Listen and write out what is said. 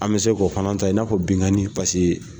An bɛ se k k'o fana ta i n'a fɔ binkani paseke